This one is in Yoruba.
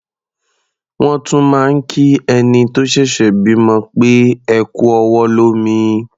Wọ́n tún máa ń kí ẹni tó ṣẹ̀ṣẹ̀ bímọ pé "ẹ kú ọwọ́ lómi".